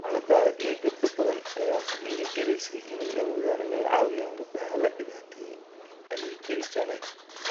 Xaaladda adag ee gabdho badan ayaa ku dhiirigelisay inay awoodaan inay caawiyaan gabdhaha la dhibaateeyay, ayay tiri Janeth.